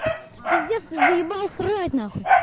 пиздец ты заебал срать на хуй